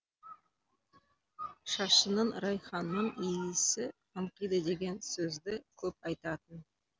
шашыңнын райханның иісі аңқиды деген сөзді көп айтатын